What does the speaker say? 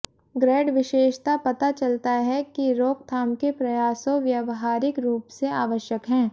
grade विशेषता पता चलता है कि रोकथाम के प्रयासों व्यावहारिक रूप से आवश्यक हैं